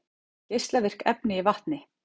Geislavirk efni í vatni